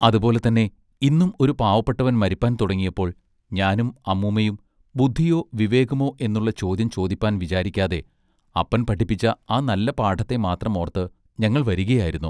അതുപോലെ തന്നെ ഇന്നും ഒരു പാവപ്പെട്ടവൻ മരിപ്പാൻ തുടങ്ങിയപ്പോൾ ഞാനും അമ്മൂമ്മയും ബുദ്ധിയൊ വിവേകമൊ എന്നുള്ള ചോദ്യം ചോദിപ്പാൻ വിചാരിക്കാതെ അപ്പൻ പഠിപ്പിച്ച ആ നല്ല പാഠത്തെ മാത്രം ഓർത്ത് ഞങ്ങൾ വരികയായിരുന്നു.